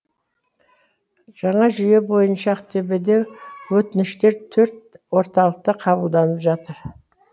жаңа жүйе бойынша ақтөбеде өтініштер төрт орталықта қабылданып жатыр